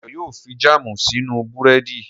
Dayọ̀ yóò fi jáàmù si sínú búrẹ́dì